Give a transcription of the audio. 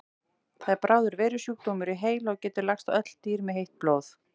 Það er bráður veirusjúkdómur í heila og getur lagst á öll dýr með heitt blóð.